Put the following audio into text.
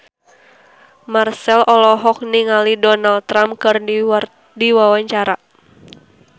Marchell olohok ningali Donald Trump keur diwawancara